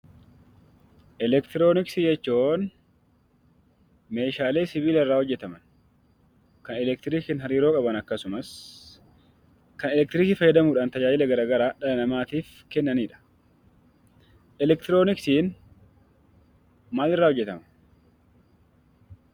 Elektirooniksii jechuun meeshaalee sibiila irraa hojjetaman kan sibiila waliin hariiroo qaban akkasumas kan elektirikii fayyadamuudhaan faayidaa adda addaa dhala namaatiif kennanidha.